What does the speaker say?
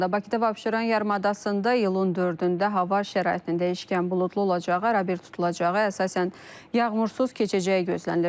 Bakıda və Abşeron yarımadasında iyulun 4-də hava şəraitinin dəyişkən buludlu olacağı, arabir tutulacağı, əsasən yağmursuz keçəcəyi gözlənilir.